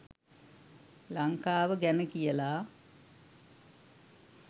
ලන්කාව ගැන කියලා.